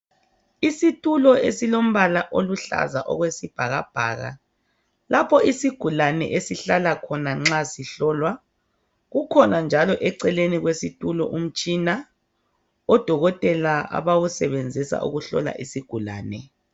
Isitulo esilombala oluhlaza okwesibhakabhaka lapho isigulani esihlala khona nxa sihlolwa. Kukhona njalo eceleni kwesitulo umtshina, odokotela abawusebenzisa ukuhlola isigulane.